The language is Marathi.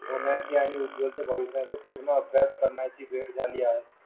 होण्याची आणि उज्वल भविष्याची पूर्ण अभ्यास झाली आहे